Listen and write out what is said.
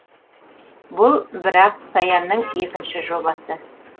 бұл бірақ саянның екінші жобасы